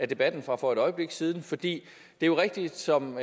debatten fra for et øjeblik siden for det er jo rigtigt som